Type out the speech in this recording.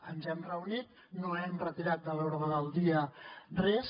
ens hem reunit no hem retirat de l’ordre del dia res